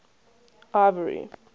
ivory